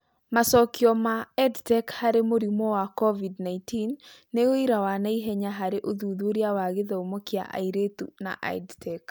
Macokio ma EdTech harĩ mũrimũ wa Covid-19 nĩ ũira wa naihenya harĩ ũthuthuria wa gĩthomo kia airĩtu na EdTech